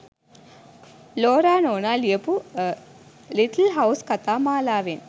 Laura නෝනා ලියපු little house කතා මාලාවෙන්